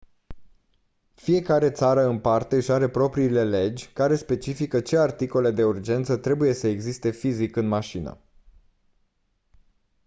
fiecare țară în parte își are propriile legi care specifică ce articole de urgență trebuie să existe fizic în mașină